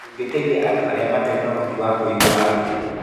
Tũngĩteithia andũ arĩa matarĩ ũhoti wa kũigua atĩa?